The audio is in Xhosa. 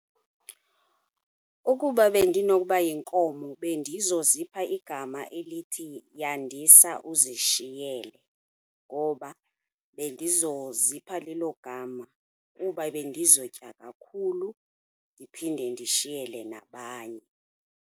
Ukuba bendinokuba yinkomo bendizozipha igama elithi Yandisa Uzishiyele ngoba bendizozipha lelo gama kuba bendizotya kakhulu ndiphinde ndishiyele nabanye.